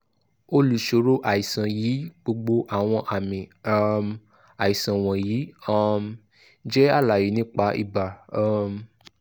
olùṣòro àìsàn yìí gbogbo awọn aami um aisan wọnyi um jẹ alaye nipa iba um